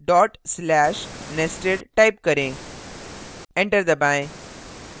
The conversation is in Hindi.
dot slash nested type करें enter दबाएँ